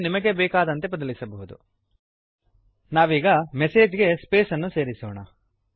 ಇದನ್ನು ನಿಮಗೆ ಬೇಕಾದಂತೆ ಬದಲಿಸಬಹುದು ನಾವೀಗ ಮೆಸೇಜ್ ಗೆ ಸ್ಪೇಸನ್ನು ಸೇರಿಸೋಣ